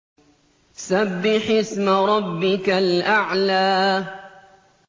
سَبِّحِ اسْمَ رَبِّكَ الْأَعْلَى